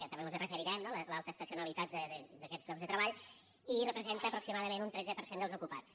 també mos hi referirem no l’alta estacionalitat d’aquests llocs de treball i representa aproximadament un tretze per cent dels ocupats